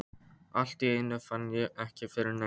Allt í einu fann ég ekki fyrir neinu.